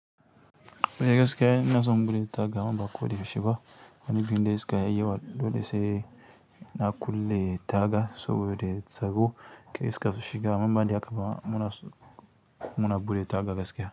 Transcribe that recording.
Be gaske na zan buɗe instagram amma ko da yaushe ba. Ram kanu nufin gunde gaske ya yiwu dole sai na kulle taga saboda tsaro. Kar iska sushiga, amma inbanda haka muna tsoro muna buɗe taga gaskiya.